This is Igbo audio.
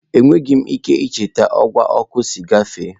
Enweghị m ike icheta ọwa ọkụ si gafe.